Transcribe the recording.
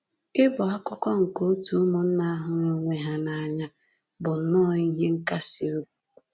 Ịbụ akụkụ nke òtù ụmụnna hụrụ onwe ha n’anya bụ nnọọ ihe nkasi obi!”